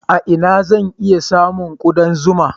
A ina zan sami ƙudan zuma?